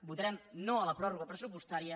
votarem no a la pròrroga pressupostària